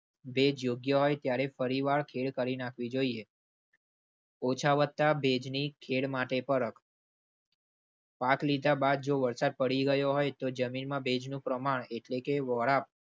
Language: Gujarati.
ભેજ યોગ્ય હોય ત્યારે પરિવાર ખેડ કરી નાખવી જોઈએ. ઓછા વત્તા ભેજની ખેચ માટે પર વાત લીધા બાદ જો વરસાદ પડી ગયો હોય તો જમીનમાં ભેજનું પ્રમાણ એટલે કે વોરા